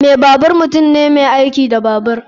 Mai babur mutum ne mai aiki da babur.